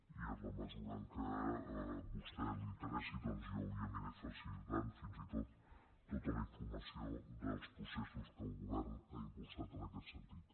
i en la mesura en què a vostè li interessi jo li aniré facilitant fins i tot tota la informació dels processos que el govern ha impulsat en aquest sentit